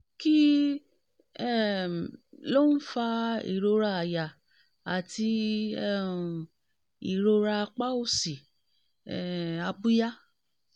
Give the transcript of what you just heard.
kí um ló ń fa ìrora àyà àti um ìrora apá òsì um abíyá?